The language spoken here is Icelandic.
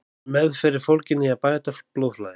Meðferð er fólgin í að bæta blóðflæði.